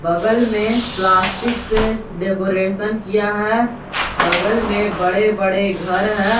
बगल में प्लास्टिक से डेकोरेशन किया है बगल में बड़े बड़े घर है।